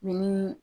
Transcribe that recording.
Ni